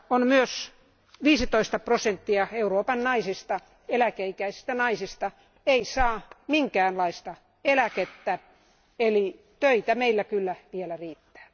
Myös 15 prosenttia Euroopan eläke ikäisistä naisista ei saa minkäänlaista eläkettä, eli töitä meillä kyllä vielä riittää.